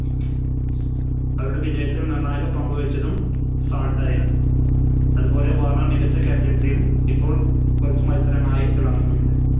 അവരുടെ വിജയത്തിൽ നിർണ്ണായക പങ്ക് വഹിച്ചതും സാൾട്ട് ആയിരുന്നു അതുപോലെ വാർണർ മികച്ച Captaincy യും ഇപ്പോൾ കുറച്ച് മത്സരമായി തിളങ്ങുന്നുമുണ്ട്